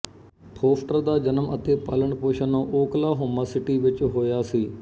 foster ਦਾ ਜਨਮ ਅਤੇ ਪਾਲਣ ਪੋਸ਼ਣ ਓਕਲਾਹੋਮਾ ਸਿਟੀ ਵਿੱਚ ਹੋਇਆ ਸੀ